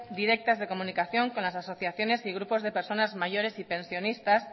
directas de comunicación con las asociaciones y grupos de personas mayores y pensionistas